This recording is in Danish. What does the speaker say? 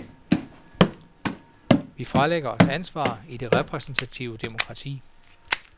Vi fralægger os ansvar i det repræsentative demokrati.